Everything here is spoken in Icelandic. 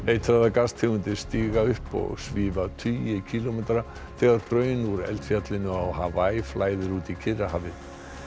eitraðar gastegundir stíga upp og svífa tugi kílómetra þegar hraun úr eldfjallinu á flæðir út í Kyrrahafið